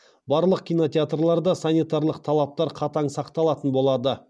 барлық кинотеатрларда санитарлық талаптар қатаң сақталатын болады